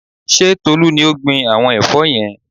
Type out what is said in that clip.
Ṣé Tolú ni ó gbin àwọn ẹ̀fọ́ yẹn?